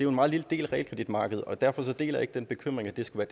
meget lille del af realkreditmarkedet og derfor deler jeg ikke den bekymring at det skulle